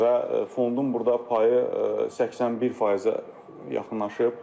Və fondun burda payı 81%-ə yaxınlaşıb.